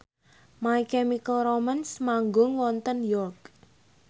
My Chemical Romance manggung wonten York